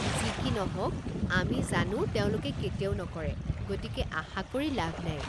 যি কি নহওক, আমি জানো তেওঁলোকে কেতিয়াও নকৰে, গতিকে আশা কৰি লাভ নাই।